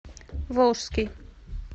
волжский